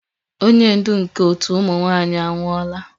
Onye ndu nke otu ụmụ nwanyị anwụọla